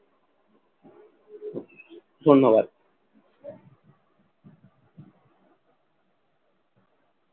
ধন্যবাদ।